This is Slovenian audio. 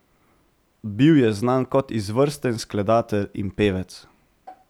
Bil je znan kot izvrsten skladatelj in pevec.